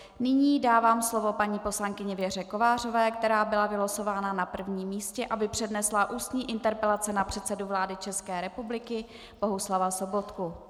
Nyní dávám slovo paní poslankyni Věře Kovářové, která byla vylosována na prvním místě, aby přednesla ústní interpelaci na předsedu vlády České republiky Bohuslava Sobotku.